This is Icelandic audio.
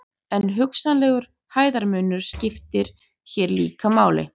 en hugsanlegur hæðarmunur skiptir hér líka máli